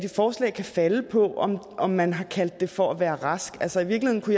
forslag kan falde på om om man har kaldt det for at være rask altså i virkeligheden